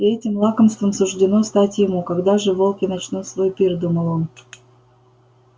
и этим лакомством суждено стать ему когда же волки начнут свой пир думал он